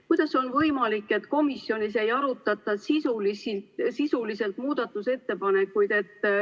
Kuidas on võimalik, et komisjonis muudatusettepanekuid sisuliselt ei arutatud?